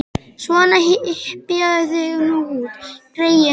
Svona, hypjaðu þig nú út, greyið mitt.